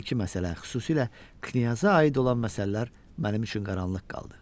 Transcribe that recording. Bir-iki məsələ, xüsusilə knyaza aid olan məsələlər mənim üçün qaranlıq qaldı.